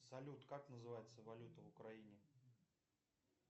салют как называется валюта в украине